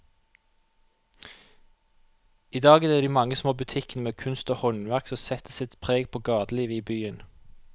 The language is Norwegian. I dag er det de mange små butikkene med kunst og håndverk som setter sitt preg på gatelivet i byen.